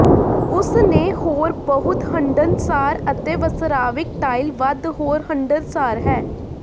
ਉਸ ਨੇ ਹੋਰ ਬਹੁਤ ਹੰਢਣਸਾਰ ਅਤੇ ਵਸਰਾਵਿਕ ਟਾਇਲ ਵੱਧ ਹੋਰ ਹੰਢਣਸਾਰ ਹੈ